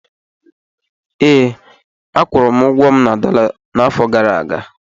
Ee, akwụrụ ụgwọ m na dọla n'afọ gara aga